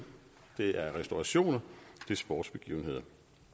det er restaurationer det er sportsbegivenheder